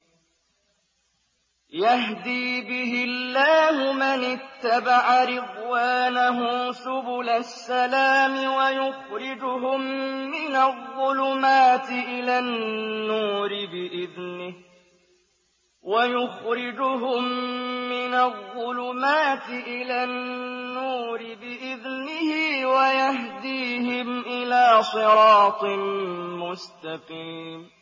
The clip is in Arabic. يَهْدِي بِهِ اللَّهُ مَنِ اتَّبَعَ رِضْوَانَهُ سُبُلَ السَّلَامِ وَيُخْرِجُهُم مِّنَ الظُّلُمَاتِ إِلَى النُّورِ بِإِذْنِهِ وَيَهْدِيهِمْ إِلَىٰ صِرَاطٍ مُّسْتَقِيمٍ